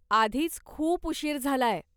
आधीच खूप उशीर झालाय.